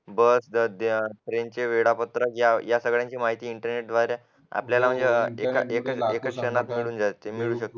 बस ट्रेनच्या वेळापत्रक या सगळ्यांची माहिती इंटरनेट द्वारे आपल्याला म्हणजे एका क्षणात मिळून जाते